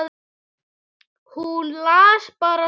Hún las bara svo hægt.